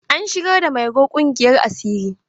An shigar da mairo ƙungiyar asiri.